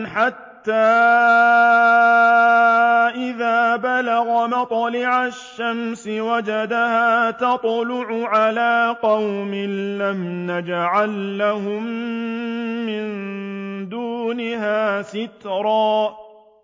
حَتَّىٰ إِذَا بَلَغَ مَطْلِعَ الشَّمْسِ وَجَدَهَا تَطْلُعُ عَلَىٰ قَوْمٍ لَّمْ نَجْعَل لَّهُم مِّن دُونِهَا سِتْرًا